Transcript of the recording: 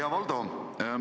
Hea Valdo!